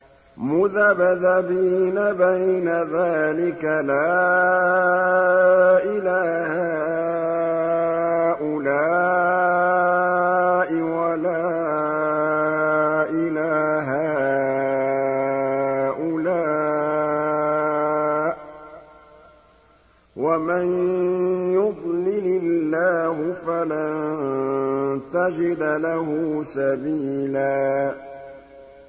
مُّذَبْذَبِينَ بَيْنَ ذَٰلِكَ لَا إِلَىٰ هَٰؤُلَاءِ وَلَا إِلَىٰ هَٰؤُلَاءِ ۚ وَمَن يُضْلِلِ اللَّهُ فَلَن تَجِدَ لَهُ سَبِيلًا